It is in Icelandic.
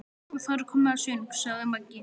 Og þá er komið að söng, sagði Maggi.